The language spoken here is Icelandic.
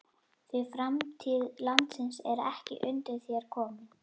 Því framtíð landsins er ekki undir þér komin.